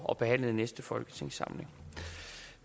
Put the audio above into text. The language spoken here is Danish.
og behandlet i næste folketingssamling